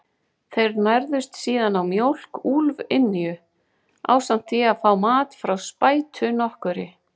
Þeir nærðust síðan á mjólk úlfynju, ásamt því að fá mat hjá spætu nokkurri.